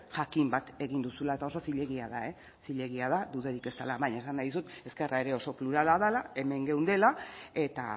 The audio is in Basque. jakin bat egin duzuela eta oso zilegia da eh zilegia da dudarik ez dela baina esan nahi dizut ezkerra ere oso plurala dela hemen geundela eta